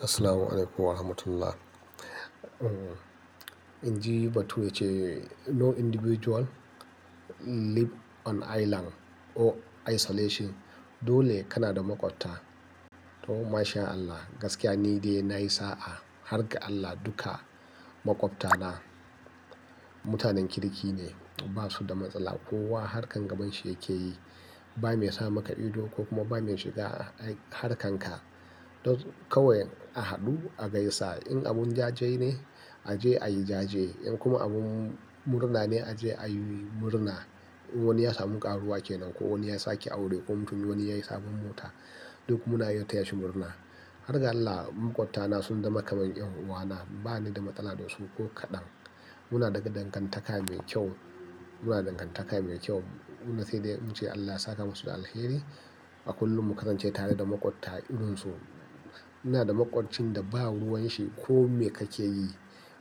Assalamualaikum warahmatullah. Inji batu wacce no individual live on island or isolation dole kana da maƙwabta. To mashallah, gaskiya ni dai na yi sa'a, harka Allah duka maƙwabta na mutanen kirki ne, ba su da matsala. Kowa harkar gaban shi yake yi. Ba mai sa maka ido ko kuma ba mai shiga harkan ka. Kawai a haɗu, a gaisa. In abun jaje ne, a je ayi jaje. In kuma abun murna ne a je ayi murna. Wani ya samu karuwa kenan ko wani ya sake aure ko mutum wani yayi sabon mota, duk muna yotta yashi murna. Harka Allah maƙwabta na sun zama kamar ƴan uwana. Ba ni da matsala da su ko kaɗan. Muna daga dangantaka mai kyau. Muna dangantaka mai kyau. Muna sai dai muce Allah ya saka musu alheri. A kullum mu kasance tare da maƙwabta. Ina da maƙwabcin da ba ruwan shi kome kake yi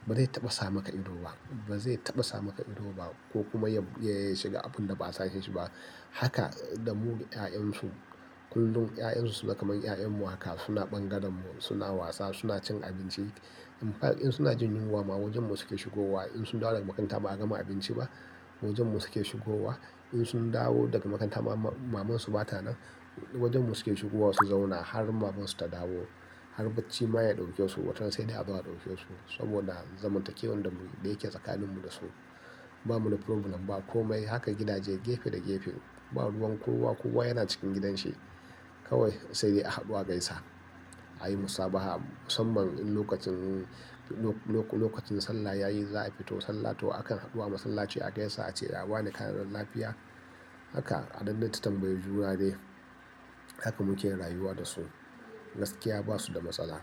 ba zai taɓa sa maka ido ba, ba zai taɓa sa maka ido ba ko kuma yayi shiga abun da ba sa shi ba. Haka da mu da 'ya'yan su. Kullum 'ya'yan su suna kamar 'ya'yan mu haka. Suna ɓangaren mu, suna wasa, suna cin abinci. In fa in suna jin yunwa ma wajen mu suke shigowa. In sun dawo daga makaranta ba a gama abinci ba wajen mu suke shigowa. In sun dawo daga makaranta maman su mata nan wajen mu suke shigowa su zauna har maman su ta dawo. Har bacci ma ya ɗauke su watan sai dai haba ya ɗauke su. Saboda zaman takewar da mu da yake tsakanin mu da su. Ba mu da problem ba kome. Haka gidaje gefe da gefe. Ba ruwan kowa kowa yana cikin gidan shi. Kawai sai dai a haɗu a gaisa. A yi musabaha musamman in lokacin, lokacin sallah yayi za a fito sallah to akan haɗu a masallaci a gaisa a ce ya wane ƙananan lafiya. Haka a dandanta tambayi juna dai. Haka muke rayuwa da su. Gaskiya ba su da matsala.